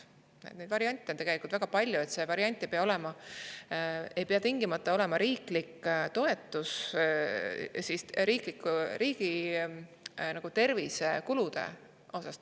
Neid variante on tegelikult väga palju, see ei pea tingimata olema riiklik toetus tervisekulude osas.